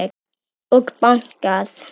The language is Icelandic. Og bankað.